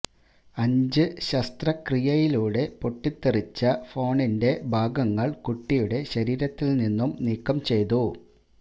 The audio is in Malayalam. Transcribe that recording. അഞ്ച് ശസ്ത്രക്രിയയിലൂടെ പൊട്ടിത്തെറിച്ച ഫോണിന്റെ ഭാഗങ്ങള് കുട്ടിയുടെ ശരീരത്തില് നിന്നും നീക്കം ചെയ്തു